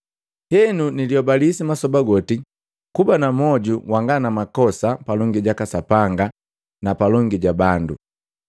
Henu gangamala masoba goti kuba na mwoju wanga na makosa ga sapi palongi jaka Sapanga na palongi ja bandu.